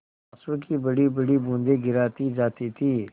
आँसू की बड़ीबड़ी बूँदें गिराती जाती थी